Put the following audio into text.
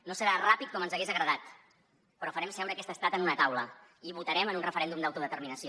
no serà ràpid com ens hagués agradat però farem seure aquest estat en una taula i votarem en un referèndum d’autodeterminació